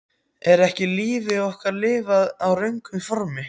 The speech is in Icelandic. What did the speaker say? Er ekki lífi okkar lifað í röngu formi?